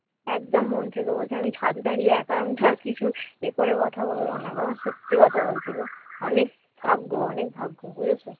একদম মন থেকে বলছি আমি ছাদে দাঁড়িয়ে আমি একা আমি ছাড়া কিছু এ করে কথা বলবো না মা সত্যি কথা বলছি গো অনেক ভাগ্য অনেক ভাগ্য বুঝেছো